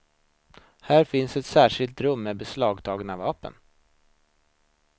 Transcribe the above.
Där finns ett särskilt rum med beslagtagna vapen.